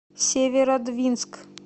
северодвинск